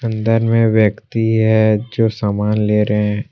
इधर में व्यक्ति हैं जो सामान ले रहे हैं।